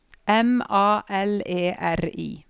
M A L E R I